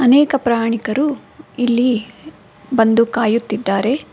ಅನೇಕ ಪ್ರಯಾಣಿಕರು ಇಲ್ಲಿ ಬಂದು ಕಾಯುತ್ತಿದ್ದಾರೆ.